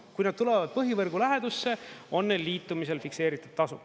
Kui nad tulevad põhivõrgu lähedusse, on neil liitumisel fikseeritud tasu.